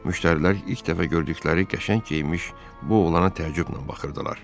Müştərilər ilk dəfə gördükləri qəşəng geyinmiş bu oğlana təəccüblə baxırdılar.